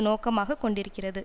நோக்கமாக கொண்டிருக்கிறது